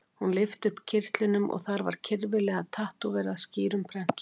Hún lyfti upp kyrtlinum og þar var kyrfilega tattóverað skýrum prentstöfum